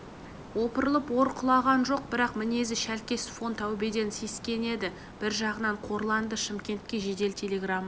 опырылып ор құлаған жоқ бірақ мінезі шәлкес фон таубеден сескенеді бір жағынан қорланды шымкентке жедел телеграмма